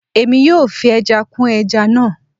Èmi yóò fi ẹja kún ẹja náà